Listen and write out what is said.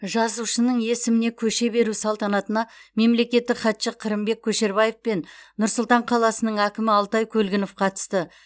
жазушының есіміне көше беру салтанатына мемлекеттік хатшы қырымбек көшербаев пен нұр сұлтан қаласының әкімі алтай көлгінов қатысты